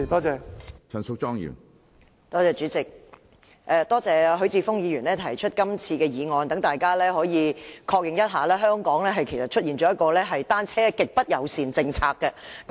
主席，多謝許智峯議員提出今次的議案，讓大家確認一下，香港其實出現了"單車極不友善政策"。